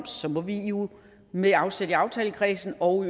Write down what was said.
så må vi jo med afsæt i aftalekredsen og